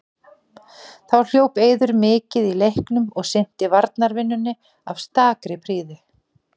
Þá hljóp Eiður mikið í leiknum og sinnti varnarvinnunni af stakri prýði.